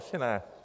Asi ne.